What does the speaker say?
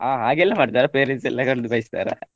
ಹಾ ಹಾಗೆಲ್ಲಾ ಮಾಡ್ತಾರಾ parents ಎಲ್ಲ ಕರ್ದು ಬೈಸ್ತಾರ?